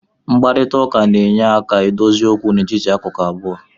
Mkparịta ụka na-enyere aka dozie okwu n'etiti akụkụ abụọ